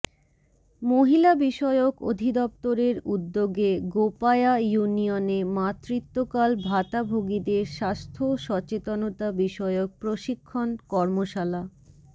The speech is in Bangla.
মহিলা বিষয়ক অধিদপ্তরের উদ্যোগে গোপায়া ইউনিয়নে মাতৃত্বকাল ভাতাভোগীদের স্বাস্থ্য সচেতনতা বিষয়ক প্রশিক্ষণ কর্মশালা